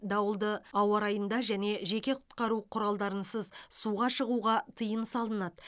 дауылды ауа райында және жеке құтқару құралдарынсыз суға шығуға тыйым салынады